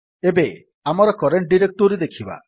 ଏବେ ଆମର current directory ଦେଖିବା